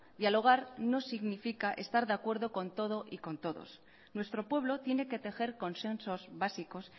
dialogar no significa estar de acuerdo con todo y con todos nuestro pueblo tiene que tejer consensos básicos